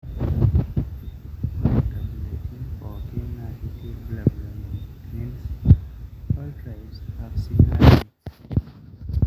ore nkabilatin pokira naa keeta irbulabul oonyanyuk